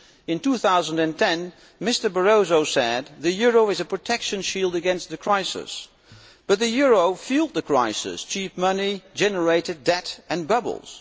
In 2010 Mr Barroso said the euro is a protection shield against the crisis, but the euro fuelled the crisis cheap money generated debt and bubbles.